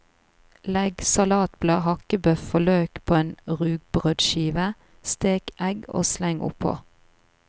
Legg salatblad, hakkebøf og løk på en rugbrødskive, stek egg og sleng oppå.